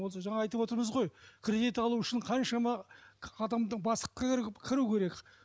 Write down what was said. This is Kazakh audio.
ос ыжаңа айтып отырмыз ғой кредит алу үшін қаншама адамды бастыққа кіру керек